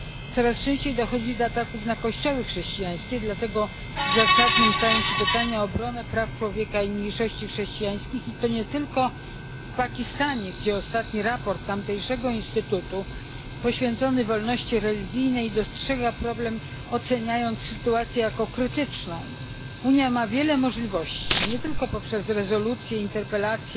Coraz częściej dochodzi do ataków na kościoły chrześcijańskie, dlatego zasadne stają się pytania o obronę praw człowieka i mniejszości chrześcijańskich, i to nie tylko w Pakistanie, gdzie w ostatnim raporcie tamtejszego instytutu poświęconym wolności religijnej wskazano problem, oceniając sytuację jako krytyczną. Unia ma wiele możliwości nie tylko poprzez rezolucje, interpelacje